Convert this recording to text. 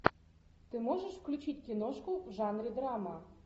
ты можешь включить киношку в жанре драма